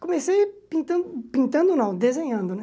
Comecei pintando, pintando não, desenhando, né?